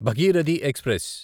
Bhagirathi express